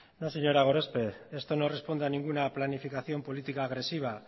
no señora gorospe esto no responde a ninguna planificación política agresiva